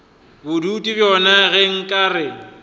bodutu bjona ge nka re